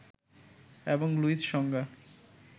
এবং লুইস সংজ্ঞা